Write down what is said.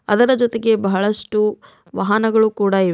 ಅದರ ಜೊತೆಗೆ ಬಹಳಷ್ಟು ವಾಹನಗಳು ಕೂಡ ಇವೆ.